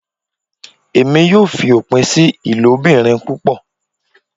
Emi yoo fi opin si ilobirin pupọ